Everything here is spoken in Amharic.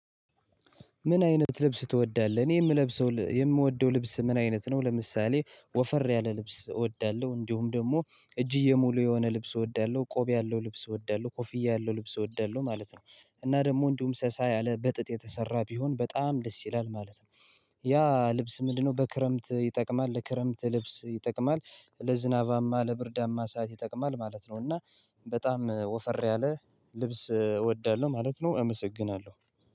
ምን አይነት ልብስ ትወዳለህ እኔ የምለብሰው የምወደው ልብስ ምን አይነት ነው? ለምሳሌ ወፈር ያለ ልብስ እወዳለሁ እንዲሁም ደግሞ እጅጌ ሙሉ የሆነ ልብስ እወዳለሁ ቆብ ያለው ልብስ እወዳለሁ ኮፍያ ያለው ልብስ እወዳለሁ ማለት ነው። እና ደግሞ እንዲሁም ሳሳ ያለ በጥጥ የተሰራ ቢሆን በጣም ደስ ይላል ማለት ነው። ያ ልብስ ምንድነው በክረምት ይጠቅማል ለክረምት ልብስ ይጠቅማል ለዝናባማ ለብርዳማ ሰዓት ይጠቅማል ማለት ነው። እና በጣም ወፈር ያለ ልብስ እወዳለሁ ማለት ነው። አመሰግናለሁ።